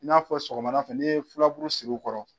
I n'a fɔ sɔgɔmada fɛ n'i ye filaburu siri u kɔrɔ.